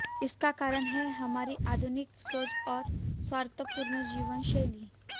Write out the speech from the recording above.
इसका कारण है हमारी आधुनिक सोच और स्वार्थपूर्ण जीवन शैली